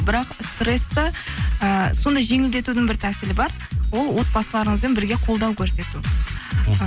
бірақ стрессті ыыы сондай жеңілдетудің бір тәсілі бар ол отбасыларыңызбен бірге қолдау көрсету мхм